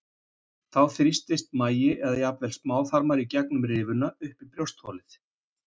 Þá þrýstast magi eða jafnvel smáþarmar í gegnum rifuna upp í brjóstholið.